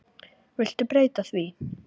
Viltu breyta því